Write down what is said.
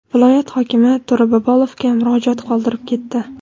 viloyat hokimi To‘ra Bobolovga murojaat qoldirib ketdi.